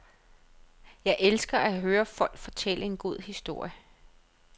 Jeg elsker at høre folk fortælle en god historie.